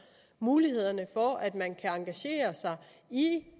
mulighederne for at man kan engagere sig i